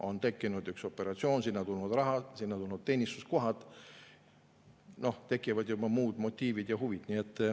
On tekkinud üks operatsioon, sinna on tulnud raha, sinna on tulnud teenistuskohad, tekivad juba muud motiivid ja huvid.